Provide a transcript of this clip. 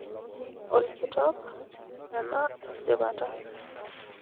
Olkitok, ena esipata.